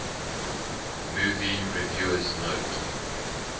movie reviewers note